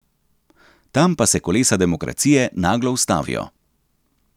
Tam pa se kolesa demokracije naglo ustavijo.